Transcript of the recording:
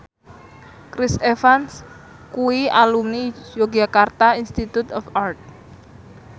Chris Evans kuwi alumni Yogyakarta Institute of Art